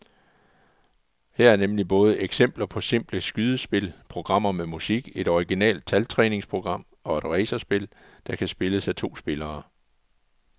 Her er nemlig både eksempler på simple skydespil, programmer med musik, et originalt taltræningsprogram og et racerspil, der kan spilles af to spillere.